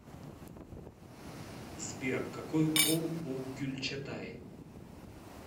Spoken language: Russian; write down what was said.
сбер какой пол у гюльчатай